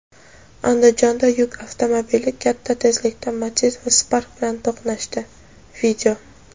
Andijonda yuk avtomobili katta tezlikda Matiz va Spark bilan to‘qnashdi.